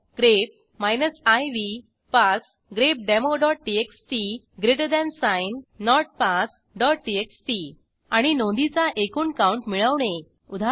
grep iv pass grepdemoटीएक्सटी notpassटीएक्सटी आणि नोंदीचा एकूण काऊंट मिळवणे उदा